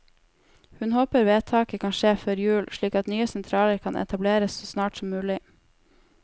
Hun håper vedtaket kan skje før jul, slik at nye sentraler kan etableres så snart som mulig.